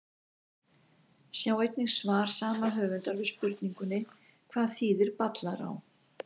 Sjá einnig svar saman höfundar við spurningunni Hvað þýðir Ballará?